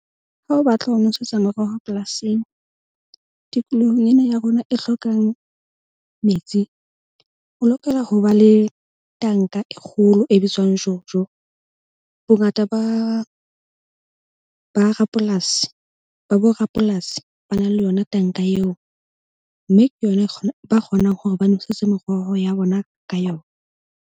Ha o batla ho nosetsa meroho polasing, tikolohong ena ya rona e hlokang metsi o lokela ho ba le tanka e kgolo e bitswang Jojo. Bongata ba rapolasi ba borapolasi ba na le yona tanka eo, mme ke yona e ba kgonang hore ba nwesetse meroho ya bona ka yona.